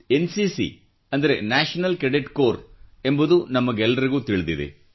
NCC ಎಂದರೆ national cadet corps ಎಂಬುದು ನಮಗೆಲ್ಲರಿಗೂ ತಿಳಿದಿದೆ